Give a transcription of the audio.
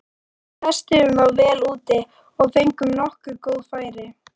Við testuðum þá vel úti og fengum nokkur góð færi.